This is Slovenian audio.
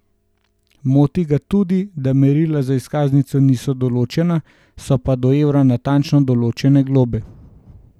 Moti ga tudi, da merila za izkaznico niso določena, so pa do evra natančno določene globe.